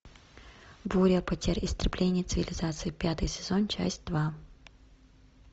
буря потерь истребление цивилизации пятый сезон часть два